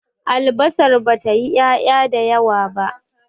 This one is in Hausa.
albasar ba ta yi ya' ya da yawa ba